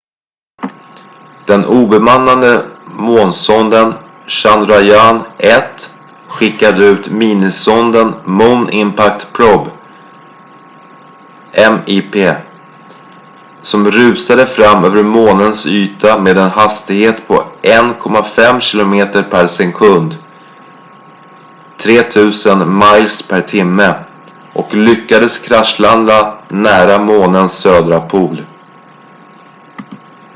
den obemannade månsonden chandrayaan-1 skickade ut minisonden moon impact probe mip som rusade fram över månens yta med en hastighet på 1,5 kilometer per sekund 3 000 miles per timme och lyckades kraschlanda nära månens södra pol